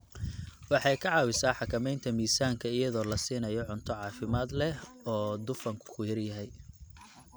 Waxay ka caawisaa xakamaynta miisaanka iyadoo la siinayo cunto caafimaad leh oo dufanku ku yar yahay.